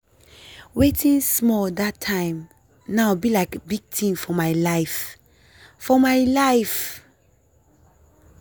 wetin small that time now be lik big tin for my life. for my life.